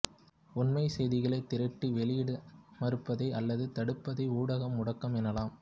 உண்மைச் செய்திகளைத் திரட்டி வெளியிட மறுப்பதை அல்லது தடுப்பதை ஊடக முடக்கம் எனலாம்